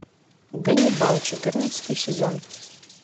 ганнибал четырнадцатый сезон